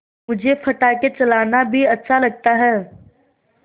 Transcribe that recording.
मुझे पटाखे चलाना भी अच्छा लगता है